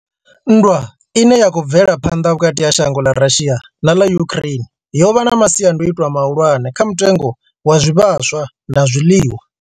Nndwa ine ya khou bvela phanḓa vhukati ha shango ḽa Russia na ḽa Ukraine yo vha na masiandaitwa mahulwane kha mutengo wa zwivhaswa na zwiḽiwa.